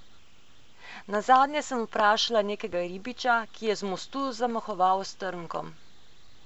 Nazadnje sem vprašala nekega ribiča, ki je z mostu zamahoval s trnkom.